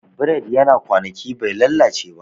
Bread yana kwanaki bai lalace ba